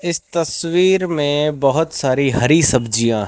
इस तस्वीर में बहोत सारी हरी सब्जियां हैं।